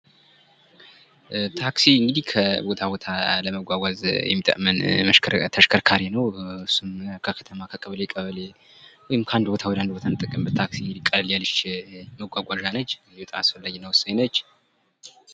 ታክሲ እንግዲህ ከቦታ ቦታ ለመንቀሳቀስ የሚረዳን ተሽከርካሪ ነው ይህም እንግዲህ ከተማ ከተማ ከቀበሌ ቀበሌ ከአንድ ቦታ ወደቦታ የምንጠቀምበት ነው። አስፈላጊና ወሳኝ ናት።